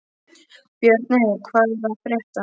Björney, hvað er að frétta?